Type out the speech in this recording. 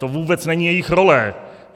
To vůbec není jejich role.